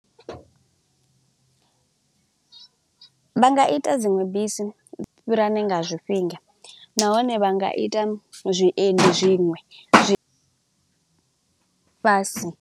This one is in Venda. Vha nga ita dzinwe bisi u fhirani nga zwifhinga nahone vha nga ita zwiendi zwiṅwe fhasi.